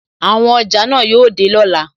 Àwọn ọjà náà yóò dé lọ́la.